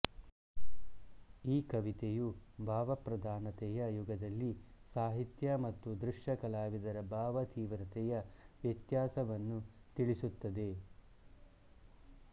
ಈ ಕವಿತೆಯು ಭಾವಪ್ರಧಾನತೆಯ ಯುಗದಲ್ಲಿ ಸಾಹಿತ್ಯ ಮತ್ತು ದೃಶ್ಯಕಲಾವಿದರ ಭಾವತೀವ್ರತೆಯ ವ್ಯತ್ಯಾಸವನ್ನು ತಿಳಿಸುತ್ತದೆ